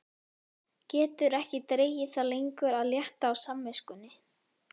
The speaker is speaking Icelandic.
Getur ekki dregið það lengur að létta á samviskunni.